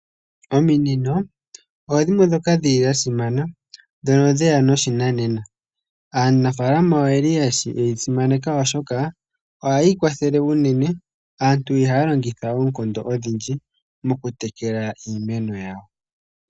Ominino odho dhimwe dhoka dhili dha simana, dhono dheya noshinanena. Aanafalama oye li yedhi simaneka oshoka ohadhi ya kwathele, aantu ihaya longitha oonkondo odhindji mokutekela iimeno yawo.